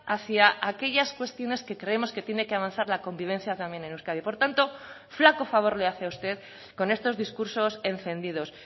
hacia aquellas cuestiones que creemos que tiene que avanzar la convivencia también en euskadi por tanto flaco favor le hace usted con estos discursos encendidos